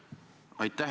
Aitäh!